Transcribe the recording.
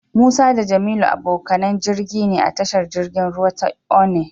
Musa da Jamilu abokanan jirgi ne a tashar jirgin ruwa ta Onne.